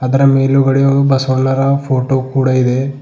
ಅದರ ಮೇಲುಗಡೆ ಬಸವಣ್ಣನವರ ಫೋಟೋ ಕೂಡ ಇದೆ.